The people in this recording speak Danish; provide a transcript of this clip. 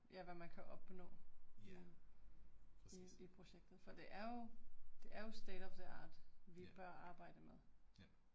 Ja. præcis. Ja, ja